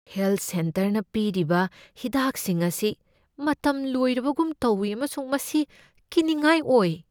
Health ꯁꯦꯟꯇꯔꯅ ꯄꯤꯔꯤꯕ ꯍꯤꯗꯥꯛꯁꯤꯡ ꯑꯁꯤ ꯃꯇꯝ ꯂꯣꯏꯔꯕꯒꯨꯝ ꯇꯧꯢ ꯑꯃꯁꯨꯡ ꯃꯁꯤ ꯀꯤꯅꯤꯡꯉꯥꯏ ꯑꯣꯏ꯫